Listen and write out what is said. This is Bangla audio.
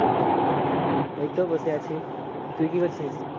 এই তো বসে আছি। তুই কি করছিস?